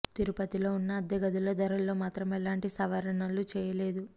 తిరుపతిలో ఉన్న అద్దె గదుల ధరల్లో మాత్రం ఎలాంటి సవరణలు చేయలేదు